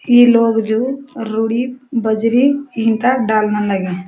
ई लोग जु रुड़ी बजरी ईटा डालना लाग्यां।